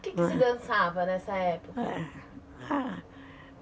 O quê que você dançava nessa época?